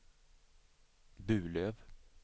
Burlöv